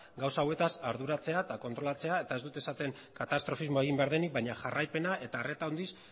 gauza hauetaz arduratzea eta kontrolatzea eta ez dut esaten katastrofismoa egin behar denik baina jarraipena eta arreta handiz